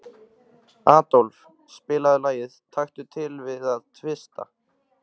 Aðólf, spilaðu lagið „Taktu til við að tvista“.